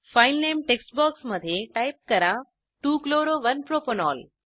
file नामे text बॉक्समध्ये type करा 2 chloro 1 प्रोपॅनॉल